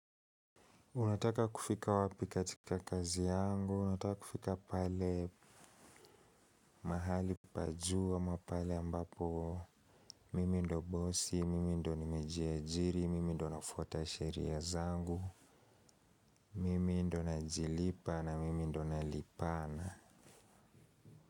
Unataka kufika wapi katika kazi yangu, unataka kufika pale mahali paa juu ama pale ambapo mimi ndio bosi, mimi ndio ni mejiajiri, mimi ndio na fatasheria zangu, mimi ndio na jilipa na mimi ndio na lipana.